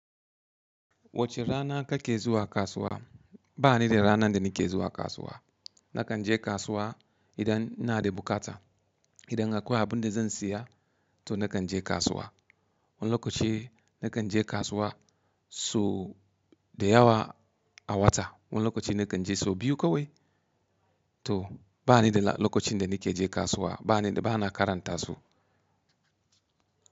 Wace rana kake zuwa kasuwa? Ba ni da ranar da nike zuwa kasuwa. Nakan je kasuwa, idan ina da bukata. Idan akwai abin da zan siya, to nakan je kasuwa. Wani lokaci, nakan je kasuwa, so da yawa a wata, wani lokaci nakan je so biyu kawai, to ba ni da la, lokacin da nike je kasuwa. Ba ni da, ba na karanta su.